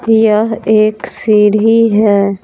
यह एक सीढ़ी है।